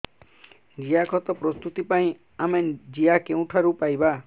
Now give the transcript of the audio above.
ଜିଆଖତ ପ୍ରସ୍ତୁତ ପାଇଁ ଆମେ ଜିଆ କେଉଁଠାରୁ ପାଈବା